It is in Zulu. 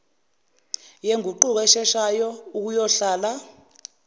yenguquko esheshayo ukuyohlala